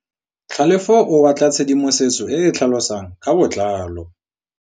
Tlhalefô o batla tshedimosetsô e e tlhalosang ka botlalô.